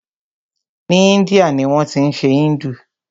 Ni Índia ni wọ́n tí ń ṣe Hindu.